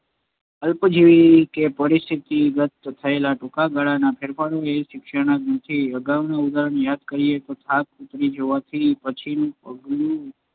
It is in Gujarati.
અલ્પજીવી કે પરિસ્થિતિગત થયેલા ટૂંકા ગાળાના ફેરફારો એ શિક્ષણ નથી જ. અગાઉના ઉદાહરણને યાદ કરીએ તો થાક ઊતરી જવાથી કે પછી પગનું